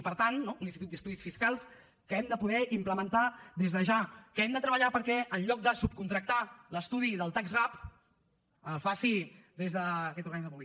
i per tant no un institut d’estudis fiscals que hem de poder implementar des de ja que hem de treballar perquè enlloc de subcontractar l’estudi del tax gap el faci des d’aquest organisme públic